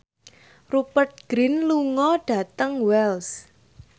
Rupert Grin lunga dhateng Wells